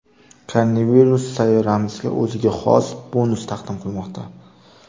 Koronavirus sayyoramizga o‘ziga xos bonus taqdim qilmoqda.